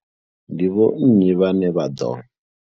Ndi vho nnyi vhane vha ḓo.